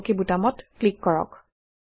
আৰু অক বুটামত ক্লিক কৰক